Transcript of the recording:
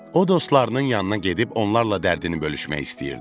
O dostlarının yanına gedib onlarla dərdini bölüşmək istəyirdi.